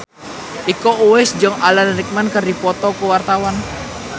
Iko Uwais jeung Alan Rickman keur dipoto ku wartawan